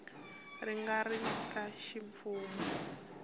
ti nga ri ta ximfumo